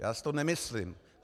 Já si to nemyslím.